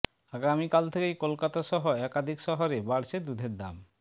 আগামীকাল থেকেই কলকাতা সহ একাধিক শহরে বাড়ছে দুধের দাম